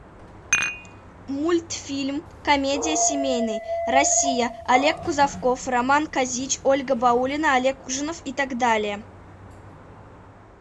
мультфильм комедия семейный россия олег кузовков роман козич ольга баулина олег ужинов и так далее